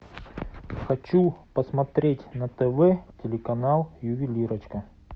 хочу посмотреть на тв телеканал ювелирочка